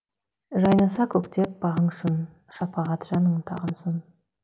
жайнаса көктеп бағың шын шапағат жаның тағынсын